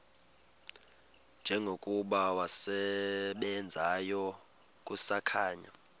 njengokuba wasebenzayo kusakhanya